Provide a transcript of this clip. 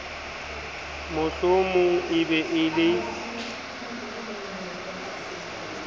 mohlomong e be e le